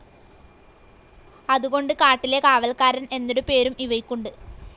അതുകൊണ്ട് കാട്ടിലെ കാവൽക്കാരൻ എന്നൊരു പേരും ഇവയ്ക്കുണ്ട്.